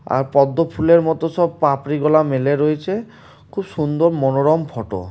আর পদ্ম ফুলের মত সব পাপড়িগুলা মেলে রয়েছে | খুব সুন্দর মনোরম ফটো ।